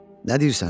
Nə deyirsən?